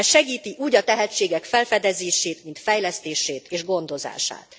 Ez segíti úgy a tehetségek felfedezését, mint fejlesztését és gondozását.